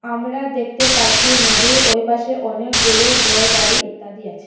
আমরা দেখতে পাচ্ছি নদীর ওই পাশে অনেকগুলো ঘরবাড়ি ইত্যাদি আছে।